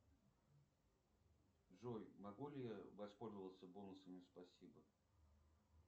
джой могу ли я воспользоваться бонусами спасибо